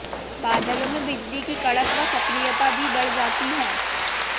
बादलों में बिजली की कड़क व सक्रियता भी बढ़ जाती है